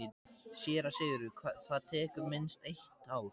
SÉRA SIGURÐUR: Það tekur minnst eitt ár.